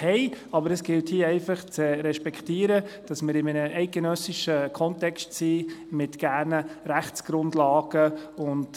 Hier gilt es jedoch zu respektieren, dass wir uns in einem eidgenössischen Rechtskontext mit entsprechenden Rechtsgrundlagen befinden.